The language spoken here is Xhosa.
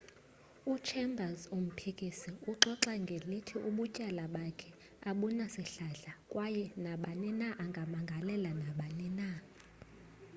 u-chambers umphikisi uxoxa ngelithi ubutyala bakhe abunasihlahla kwaye nabani na angamangalela nabani na